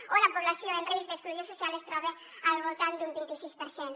o la població en risc d’exclusió social es troba al voltant d’un vinti sis per cent